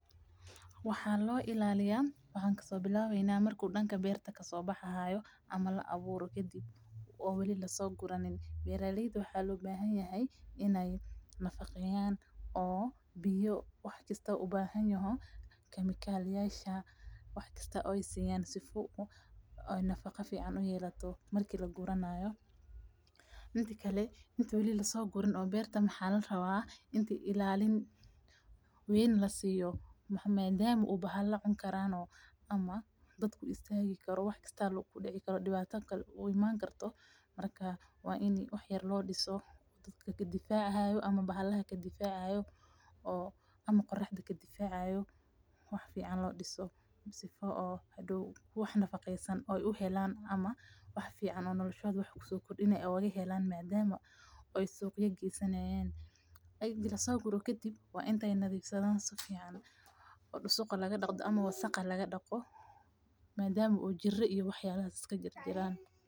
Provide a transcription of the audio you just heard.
Waxaan loo ilaliya waxa kasobilwayna marka danka beerta kasobaxahayo ama laa awuro kadib oo wali lasoguranin. Beera layda waxa loo bahanyany inay nafaqeeyan oo biyo wax kasta ubahanyaho iyo chemical yasha wax kaasta ay siyaan sifo oo nafaga ficaan u yeelato marka laguranayo. Midkale inta beerta lasoguraan waxa larawa in ilaaliin wayn lasiyo maadama oo bahala cuni karaan oo ama daab ka isatagi karo ama wax kasta kadic karo dibaata kaal uu iman karto marka waa in wax yaar loo diso kadifacayo ama bahalaha kadifacayo ama qurxda kadifacayo wax fican loo diso sifo oo wax nafaqeysan aay u helaan ama wax fican nolashoda soo kordinayo ay ugahelaan madama oo suga geysanayan ega lasoguru kadib waa inta nadhifsadhan ay dusug laga daqo madama oo jiira iyo wax kale isga jiriraan.